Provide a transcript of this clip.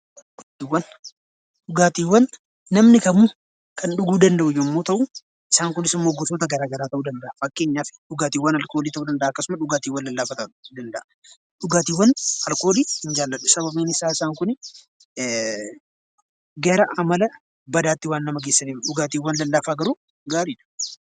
Dhugaatiiwwan namni kamuu kan dhuguu danda'u yommuu ta'u, isaan kunis immoo gosoota garaagaraa ta'uu danda'a. Fakkeenyaaf dhugaatiiwwan alkoolii ta'uu danda'a dhugaatiiwwan lallaafaa ta'uu danda'a. Dhugaatiiwwan alkoolii hin jaalladhu sababiin isaa isaan kun gara amala badaatti waan nama geessaniif dhugaatiiwwan lallaafaa garuu gaariidha.